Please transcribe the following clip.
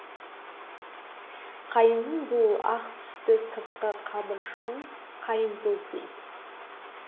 қайыңның бұл ақ түсті сыртқы қабыршағын қайыңтоз дейді